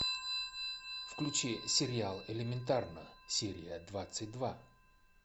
включи сериал элементарно серия двадцать два